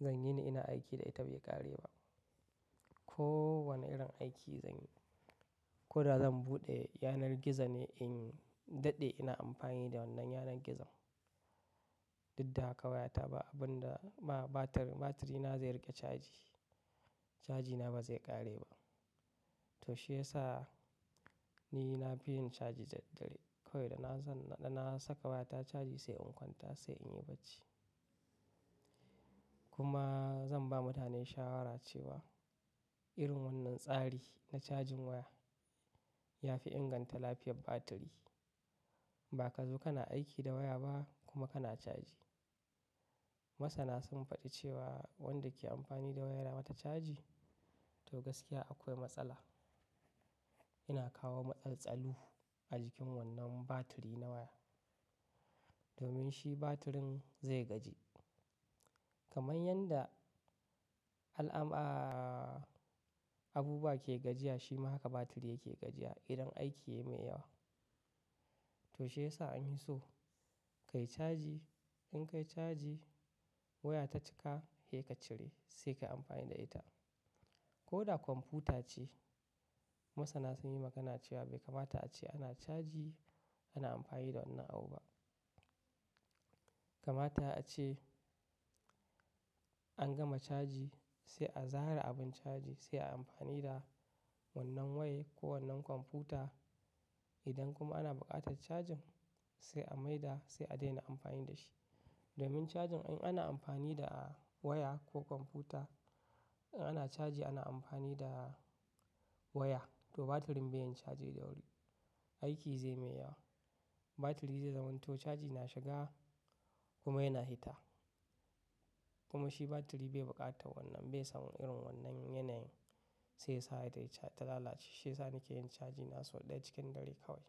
zan yi ni ina aiki da ita bai ƙare ba. Ko wane irin aiki zan yi. Ko da zan buɗe yanar gizo ne in daɗe ina amfani da wannan yanar gizon. Duk da haka waya ta ba abun da ma batir, batiri na zai riƙe caji. Cajina ba zai ƙare ba. To shi yasa ni na fi yin caji daddare. Kawai dana, na saka waya ta caji sai in kwanta sai in yi bacci. Kuma zan ba mutane shawara cewa irin wannan tsari na cajin waya ya fi inganta lafiyar batiri. Ba ka zo kana aiki da waya ba kuma kana caji. Masana sun faɗi cewa wanda ke amfani da waya yana mata caji to gaskiya akwai matsala. Yana kawo matsaltsalu a jikin wannan batiri na waya. Domin shi batirin zai gaji. Kamar yanda alama abubuwa ke gajiya shi ma haka batiri yake gajiya idan aiki ya mai yawa. To shi yasa an hi so ka yi caji. In ka yi caji waya ta cika, hei ka cire sai ka yi amfani da ita. Ko da kwamfuta ce, masana sun yi magana cewa bai kamata ace ana caji ana amfani da wannan abu ba. Kamata ace an gama caji sai a zare abin caji sai a yi amfani da wannan waya ko wannan kwamfuta. Idan kuma ana buƙatar cajin sai a mai da sai a daina amfani da shi. Domin cajin in ana amfani da waya ko kwamfuta, in ana caji ana amfani da waya to batirin bai yin caji da wuri. Aiki zai mai yawa. Batiri zai zamanto caji na shiga kuma yana hita. Kuma shi batiri bai buƙata wannan, bai san irin wannan yanayin. Shi yasa batiri ta lalace. Shi yasa nike yin caji na so ɗaya cikin dare kawai.